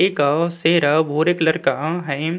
एक शेर और एक लरका है।